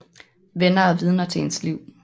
Venner er vidner til ens liv